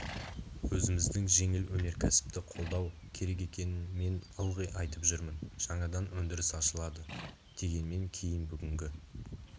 өзіміздің жеңіл өнеркәсіпті қолдау керек екенін мен ылғи айтып жүрмін жаңадан өндіріс ашылады дегеннен кейін бүгінгі